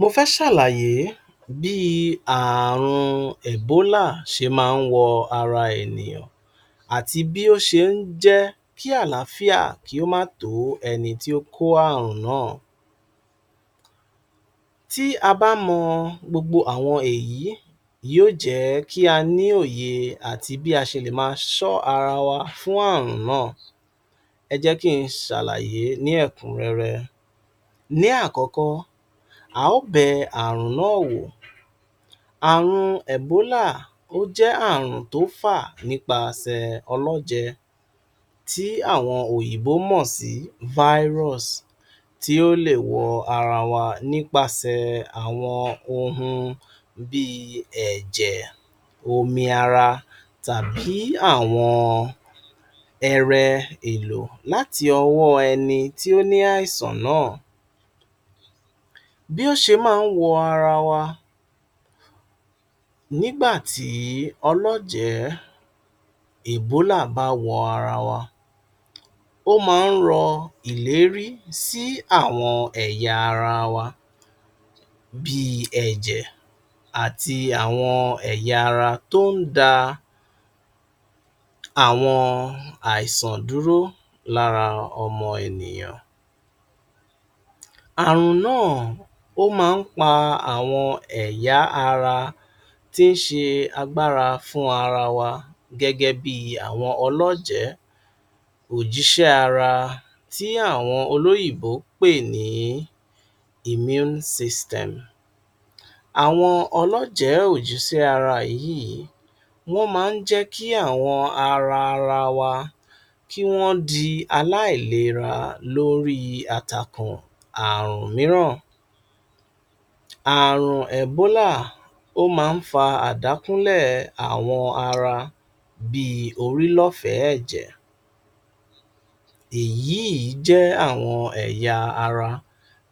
Mofẹ́ sàlàyé bí ààrùn ẹ̀bólà ṣe má nwọ ara ènìyàn àti bí ó ṣe njẹ́ kí àlááfíà kí ó má tò ẹnití ó kó àrùn naa. Tí a bá mọ́ gbogbo àwọn èyí, yíò jẹ́ kí á ní òye àti bí a ṣe lè maa ṣọ́ ara wa fún àrùn naa. Ẹ jẹ́ kí n ṣàlàyé ní ẹ̀kùnrẹ́rẹ́. Ní àkọ́kọ́, a ó bẹ àrùn naa wò. Àrùn ẹ̀bólà ó jẹ àrùn tó fà nípa sẹ̀ ọlọ́re tí àwọn òyìnbó mọ̀sii Virus tí ó lè wọ̀ ara wa nípa sẹ̀ àwọn ohun bíi ẹ̀jẹ̀, omi ara tàbí àwọn ẹrẹ èlò láti owo ẹni tí ó ní àìsàn naa. Bí ó ṣe má nwọ ara wa nígbà tí ọlọ́jẹ̀ ẹ̀bólà bá wọ ara wa, ó maa nrọ ìlérí sí àwọn ẹ̀yà ara wa bii, ẹ̀jẹ̀ ati àwọn ẹ̀yà ara to ndá àwọn àìsàn dúró lára omo ènìyàn. Àrùn naa o màá n pa àwọn ẹ̀yà ara tí n ṣe agbára fún ara wa gẹ́gẹ́ bíi àwọn ọlọ́jẹ, òjísé ara tí àwọn olóyìnbó npè ní Immune System. Àwọn ọlọ́jẹ òjísé ara wọǹyii wọ́n maa njẹ́ kí àwọn ara wa, kí wọ́n di aláílera lórí àtàkùn àrùn míràn. Àrùn ẹ̀bólà ó maa nfà àdákúnlẹ̀ àwọn ara bíi orí lofẹ̀ẹ̀jẹ̀, èyii jẹ́ àwọn ẹ̀yà ara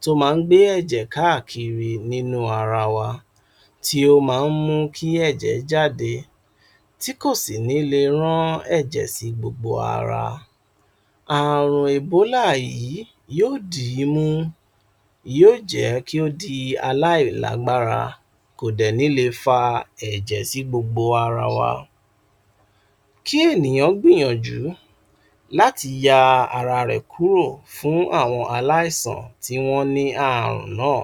tó ma ngbé ẹ̀jẹ̀káà kiri nínú ara wa tí ó maa nmú kí ẹ̀jẹ̀ jáde tí kò si ní le rán ẹ̀jẹ̀ sí gbogbo ara. Àrùn ẹ̀bólà yii yoo díi mimú, yíò jẹ́ kí ó di aláílágbára, kò dẹ̀ní le fa ẹ̀jẹ̀sí gbogbo ara wa. Kí ènìyàn gbìyànjú láti ya ara rè kúrò fún àwọn aláìsàn tí wọ́n ní àrùn naa,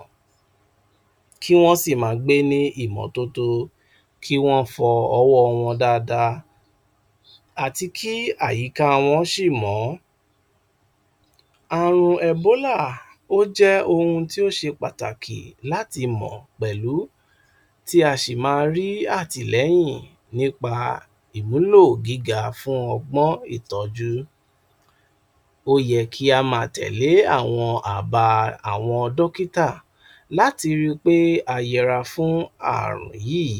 kí wọ́n sì maa gbé ní ìmọ́tótó, kí wọ́n fọ owo wọ́n dáadáa àti kí àyíká wọ́n sì mọọ. Àrùn ẹ̀bólà ó jẹ́ oun tí ó ṣe pàtàkì láti mọ̀pẹ̀lu tí a sì maa rí àtìlẹ̀yìn nípa ìwùlò gíga fún ọgbọ́n ìtọ́jú. Ó yẹ kí á maa tẹ̀lẹ́ àwọn àbá àwọn dọ́kítà láti rí pé ayẹra fún àrùn yii.